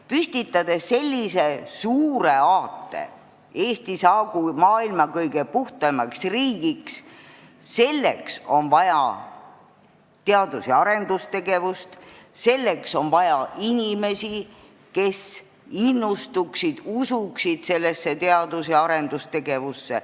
Püstitades sellise suure aate, et Eesti saagu maailma kõige puhtamaks riigiks, peame endale aru andma, et selleks on vaja teadus- ja arendustegevust, selleks on vaja inimesi, kes innustuksid, usuksid teadus- ja arendustegevusse.